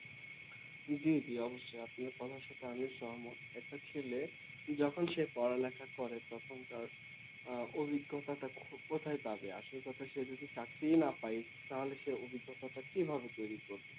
জি জি অবশ্যই আপনার কথা শুনে আমিও সহমত একটা ছেলে যখন সে পড়ালেখা করে তখন তার উম অভিজ্ঞতাটা খু কোথায় পাবে আসল কথা সে যদি চাকরিই না পায় তাহলে সেই অভিজ্ঞতাটা কিভাবে তৈরী করবে